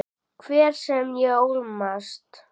Hvernig sem ég ólmast.